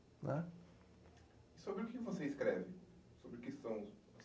Sobre o que você escreve? Sobre o que são